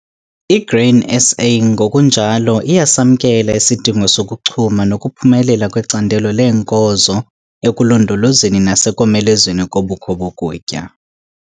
I-Grain SA ngokunjalo iyasamkela isidingo sokuchuma nokuphumelela kwecandelo leenkozo ekulondolozweni nasekomelezweni kobukho bokutya.